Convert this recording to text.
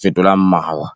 fetolang mawa.